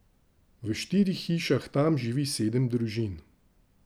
V štirih hišah tam živi sedem družin.